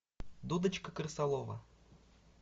дудочка крысолова